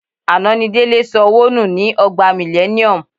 Àná ni Délé sọ owó nù ni Ọgbà Millennium.